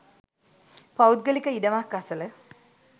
පෞද්ගලික ඉඩමක් අසල